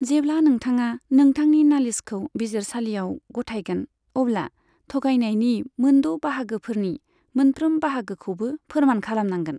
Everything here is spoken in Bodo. जेब्ला नोंथाङा नोंथांनि नालिसखौ बिजिरसालियाव गथायगोन, अब्ला थगायनायनि मोनद' बाहागोफोरनि मोनफ्रोम बाहागोखौबो फोरमान खालामनांगोन।